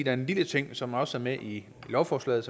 er en lille ting som også er med i lovforslaget